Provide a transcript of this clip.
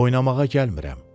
Oynamağa gəlmirəm.